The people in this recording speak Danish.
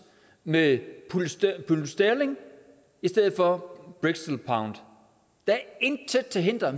med pund sterling i stedet for brixton pounds der er intet til hinder